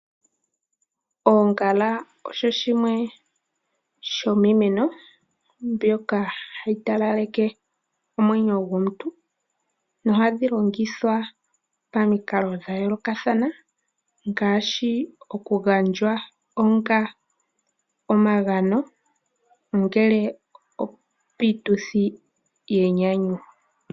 Oongala osho shimwe shomiimeno mbyoka hayi talaleke omwenyo gomuntu. Nohadhi longithwa pamikalo dha yoolokathana ngaashi okugandjwa onga omagano ongele opiituthi yenyanyu.